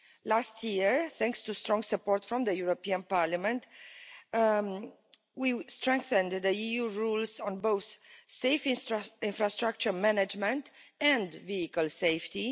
Last year, thanks to strong support from the European Parliament, we strengthened the EU rules on both safe infrastructure management and vehicle safety.